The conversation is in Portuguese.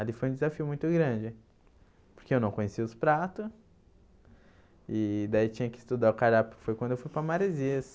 Ali foi um desafio muito grande porque eu não conhecia os prato e daí tinha que estudar o cardápio, foi quando eu fui para Marezias.